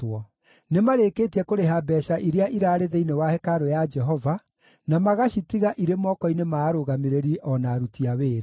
Nĩmarĩkĩtie kũrĩha mbeeca iria iraarĩ thĩinĩ wa hekarũ ya Jehova, na magacitiga irĩ moko-inĩ ma arũgamĩrĩri o na aruti a wĩra.”